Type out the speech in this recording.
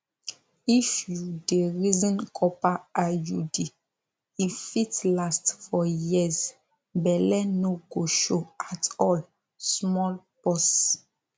if you dey reason copper iud e fit last for years belle no go show at all small pause